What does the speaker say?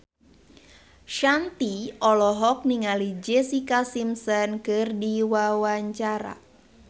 Shanti olohok ningali Jessica Simpson keur diwawancara